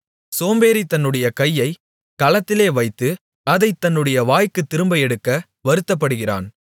சோம்பேறி தன்னுடைய கையைக் கலத்திலே வைத்து அதைத் தன்னுடைய வாய்க்குத் திரும்ப எடுக்க வருத்தப்படுகிறான்